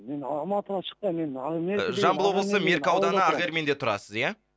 мен алматыға шықпаймын жамбыл облысы мерке ауданы ақерменде тұрасыз ия